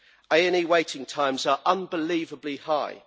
AE waiting times are unbelievably high